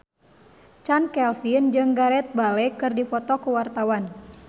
Chand Kelvin jeung Gareth Bale keur dipoto ku wartawan